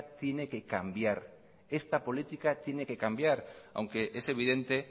tiene que cambiar esta política tiene que cambiar aunque es evidente